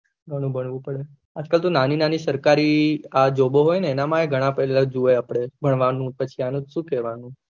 ઘણું ભરવું પડે આજ કાલ તો નાની નાની સરકારી જોબો હોય ને એના માય ને ઘણા જોય્યે આપળે પછી આનું શું કેહ્વાનું